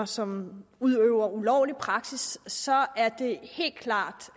som udøver ulovlig praksis så er det helt klart